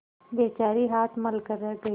बेचारी हाथ मल कर रह गयी